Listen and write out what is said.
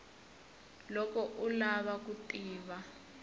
loko u lava ku tiva